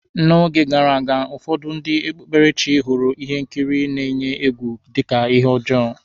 N'oge gara aga, ụfọdụ ndị okpukperechi hụrụ ihe nkiri n-eyi egwu dika ihe ọjọọ.